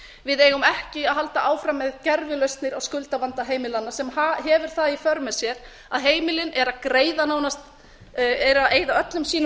við eigum ekki að halda áfram með gervilausnir á skuldavanda heimilanna sem hefur það í för með sér að heimilin eru að eyða öllum sínum